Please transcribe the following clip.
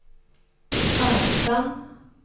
avstand